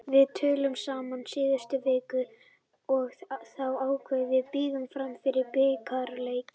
Við töluðum saman í síðustu viku og þá ákváðum við að bíða fram yfir bikarleikinn.